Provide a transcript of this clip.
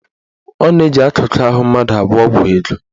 Ọ na-eji akụkụ ahụ mmadụ agwọ ọgwụ ego.